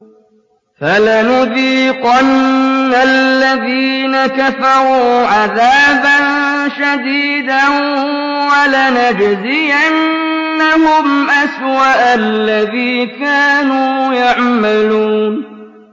فَلَنُذِيقَنَّ الَّذِينَ كَفَرُوا عَذَابًا شَدِيدًا وَلَنَجْزِيَنَّهُمْ أَسْوَأَ الَّذِي كَانُوا يَعْمَلُونَ